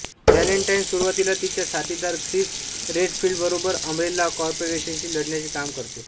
Valentine सुरुवातीला तिच्या साथीदार ख्रिस रेडफिल्डबरोबर अंब्रेला कॉर्पोरेशनशी लढण्याचे काम करते